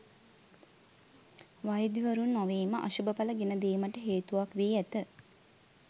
වෛද්‍යවරුන් නොවීම අශුභඵල ගෙන දීමට හේතුවක් වී ඇත.